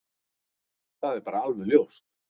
Það er bara alveg ljóst.